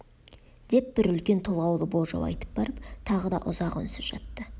деп бір үлкен толғаулы болжау айтып барып тағы да ұзақ үнсіз жатты